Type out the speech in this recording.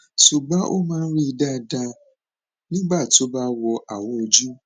ṣùgbọn ó máa ń rí dáadáa nígbà tó bá wọ awò ojú